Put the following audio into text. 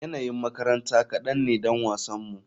Yanayin makaranta kadan ne don wasanmu.